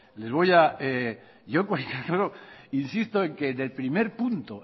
les voy a insisto en que